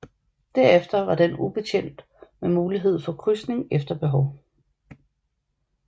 Derefter var den ubetjent med mulighed for krydsning efter behov